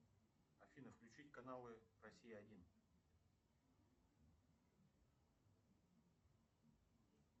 афина включить каналы россия один